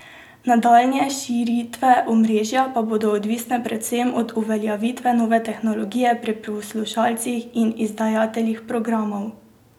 Nadaljnje širitve omrežja pa bodo odvisne predvsem od uveljavitve nove tehnologije pri poslušalcih in izdajateljih programov.